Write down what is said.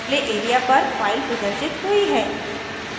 displayed area पर file प्रदर्शित हुई है